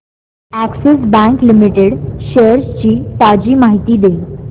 Axis bank limited shares ची ताजी माहिती दे